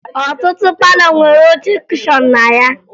Ọtụtụ palọ nwere oche kushọn na ya